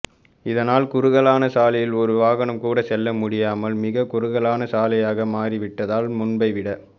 இதனால் குறுகலான சாலையில் ஒரு வாகனம் கூட செல்ல முடியாமல் மிக குறுகலான சாலையாக மாறி விட்டதால் முன்பை விட